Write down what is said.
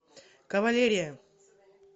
кавалерия